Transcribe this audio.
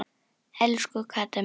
Elsku Kata mín.